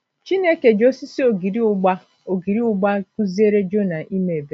Chineke ji osisi ogiri ụgba ogiri ụgba kụziere Jona ime ebere